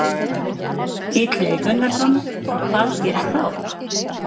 Menn orðnir langþreyttir á þessu ástandi sem verið hefur?